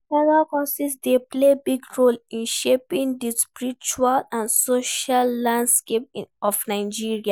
Mega-churches dey play big role in shaping di spiritual and social landscape of Nigeria.